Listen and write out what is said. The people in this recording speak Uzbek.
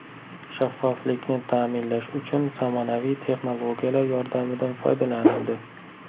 Shaffoflikni ta’minlash uchun zamonaviy texnologiyalar yordamidan foydalanildi.